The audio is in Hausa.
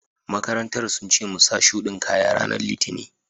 maƙarantan sun ce mu sa shuɗi kaƴa ranan litinin.